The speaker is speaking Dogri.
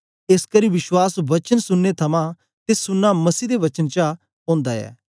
एसकरी विश्वास वचन सुनने थमां ते सुनना मसीह दे वचन चा ओंदा ऐ